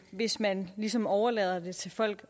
hvis man ligesom overlader det til folk